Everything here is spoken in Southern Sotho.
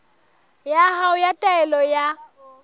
ya hao ya taelo ya